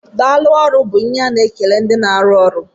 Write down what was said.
Daalụ ọrụ bú ihe a na-ekele ndị na arụ ọrụ.